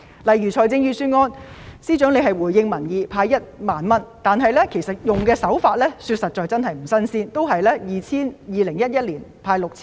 例如，司長在預算案回應民意派1萬元，實在不是新鮮事物，政府在2011年也曾派 6,000 元。